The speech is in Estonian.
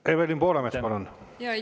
Evelin Poolamets, palun!